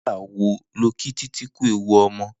Nigbà wó ló kí Titi kú éwú ọmọ?